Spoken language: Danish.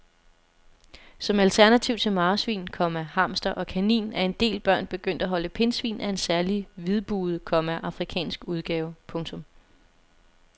Som alternativ til marsvin, komma hamster og kanin er en del børn begyndt at holde pindsvin af en særlig hvidbuget, komma afrikansk udgave. punktum